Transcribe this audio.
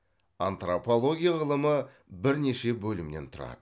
антропология ғылымы бірнеше бөлімнен тұрады